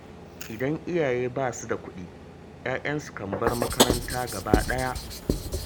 Idan iyaye ba su da kuɗi, 'ya'yansu kan bar makaranta gaba ɗaya